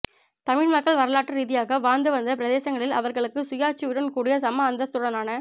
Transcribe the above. தமிழ் மக்கள் வரலாற்று ரீதியாக வாழ்ந்து வந்த பிரதேசங்களில் அவர்களுக்கு சுயாட்சியுடன் கூடிய சம அந்தஸ்துடனான